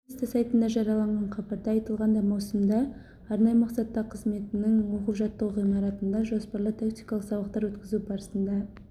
ведомство сайтында жарияланған хабарда айтылғандай маусымда арнайы мақсаттағы қызметінің оқу-жаттығу ғимаратында жоспарлы тактикалық сабақтар өткізу барысында